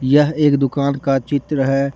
यह एक दुकान का चित्र है।